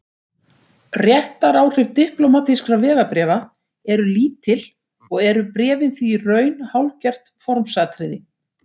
Réttaráhrif diplómatískra vegabréfa eru lítil og eru bréfin því í raun hálfgert formsatriði.